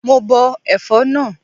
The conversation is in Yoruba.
Mo bọ ẹ̀fọ́ náà.